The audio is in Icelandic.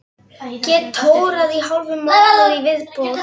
Get tórað í hálfan mánuð í viðbót.